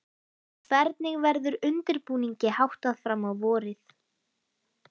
Hvernig verður undirbúningi háttað fram á vorið?